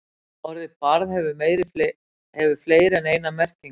Orðið barð hefur fleiri en eina merkingu.